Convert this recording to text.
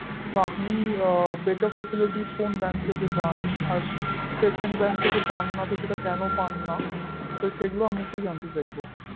তো আপনি আ betterfacilities কোন bank থেকে পান আর secondbank থেকে পান না তো কেন পান না তো সেগুলো আমি একটু জানতে চাইব